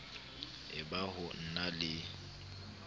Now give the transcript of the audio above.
e ba ho na le